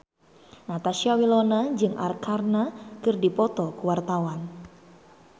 Natasha Wilona jeung Arkarna keur dipoto ku wartawan